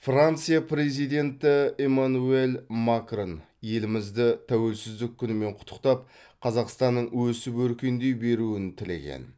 франция президенті эмманюэль макрон елімізді тәуелсіздік күнімен құттықтап қазақстанның өсіп өркендей беруін тілеген